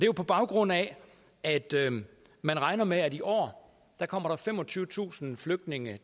jo på baggrund af at man regner med at der i år kommer femogtyvetusind flygtninge